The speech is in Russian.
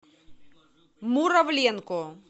муравленко